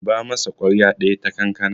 zuba masa kwarya daya ta kankana